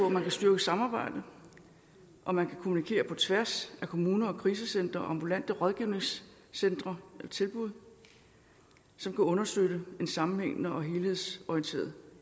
at man kan styrke samarbejdet og man kan kommunikere på tværs af kommuner og krisecentre og ambulante rådgivningscentre eller tilbud som kan understøtte en sammenhængende og helhedsorienteret